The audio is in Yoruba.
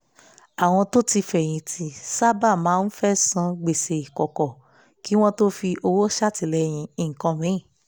àwọn tó ti fẹ̀yìn tì sáábà máa ń fẹ́ san gbèsè kọ́kọ́ kí wọ́n tó fi owó ṣàtìlẹ́yìn nǹkan míì